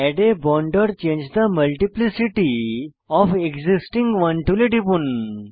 add a bond or change the multiplicity of existing one টুলে টিপুন